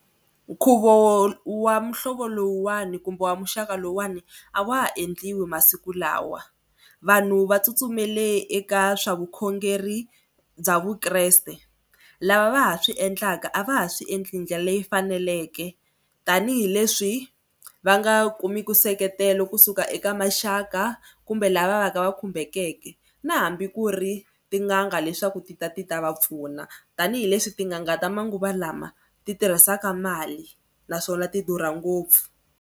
Nkhuvo wa muhlovo lowuwani kumbe wa muxaka lowuwani a wa ha endliwa masiku lawa. Vanhu va tsutsumele eka swa vukhongeri bya vukreste. Lava va ha swi endlaka a va ha swi endli ndlela leyi faneleke tanihileswi va nga kumiku nseketelo kusuka eka maxaka kumbe lava va ka va khumbekeke na hambi ku ri tin'anga leswaku ti ta ti ta va pfuna tanihileswi tin'anga ta manguva lama ti tirhisaka mali naswona ti durha ngopfu.